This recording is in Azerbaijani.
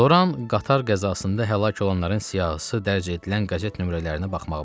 Loran qatar qəzasında həlak olanların siyahısı dərc edilən qəzet nömrələrinə baxmağa başladı.